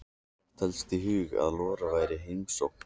Datt helst í hug að Lolla væri í heimsókn.